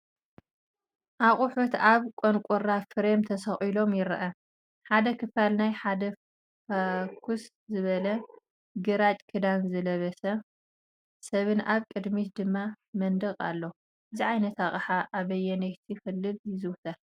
ኣቑሑት ኣብ ቋንቐራ ፍሬም ተሰቒሎም ይረአ፣ ሓደ ክፋል ናይ ሓደ ፍኹስ ዝበለ ግራጭ ክዳን ዝለበሰ ሰብን ኣብ ድሕሪት ድማ መንደቕን ኣሎ። እዚ ዓይነት ኣቕሓ ኣበየነይቲ ክልል ይዝውተር?